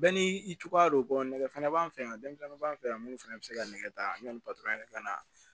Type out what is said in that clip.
Bɛɛ n'i cogoya don nɛgɛ fana b'an fɛ yan denmisɛnninw b'an fɛ yan minnu fana bɛ se ka nɛgɛ ta yanni yɛrɛ ka na